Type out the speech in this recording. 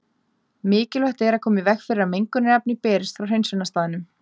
Mikilvægt er að koma í veg fyrir að mengunarefni berist frá hreinsunarstaðnum.